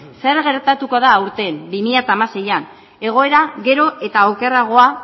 zer gertatuko da aurten bi mila hamaseian egoera gero eta okerragoa